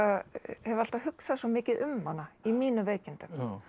hef alltaf hugsað svo mikið um hana í mínum veikindum